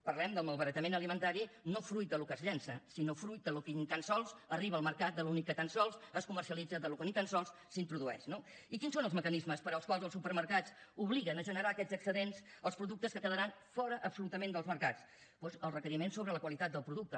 parlem del malbaratament alimentari no fruit del que es llença sinó fruit del que ni tan sols arriba al mercat del que ni tan sols es comercialitza del que ni tan sols s’introdueix no i quins són els mecanismes pels quals els supermercats obliguen a generar aquestes excedents als productes que quedaran fora absolutament dels mercats doncs els requeriments sobre la qualitat del producte